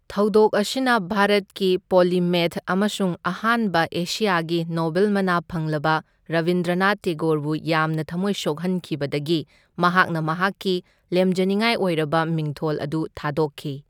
ꯊꯧꯗꯣꯛ ꯑꯁꯤꯅ ꯚꯥꯔꯠꯀꯤ ꯄꯣꯂꯤꯃꯦꯊ ꯑꯃꯁꯨꯡ ꯑꯍꯥꯟꯕ ꯑꯦꯁꯤꯌꯥꯒꯤ ꯅꯣꯕꯦꯜ ꯃꯅꯥ ꯐꯪꯂꯕ ꯔꯕꯤꯟꯗ꯭ꯔꯅꯥꯊ ꯇꯦꯒꯣꯔꯕꯨ ꯌꯥꯝꯅ ꯊꯝꯃꯣꯏ ꯁꯣꯛꯍꯟꯈꯤꯕꯗꯒꯤ ꯃꯍꯥꯛꯅ ꯃꯍꯥꯛꯀꯤ ꯂꯦꯝꯖꯅꯤꯡꯉꯥꯏ ꯑꯣꯏꯔꯕ ꯃꯤꯡꯊꯣꯜ ꯑꯗꯨ ꯊꯥꯗꯣꯛꯈꯤ꯫